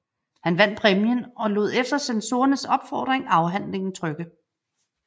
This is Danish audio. Han vandt præmien og lod efter censorernes opfordring afhandlingen trykke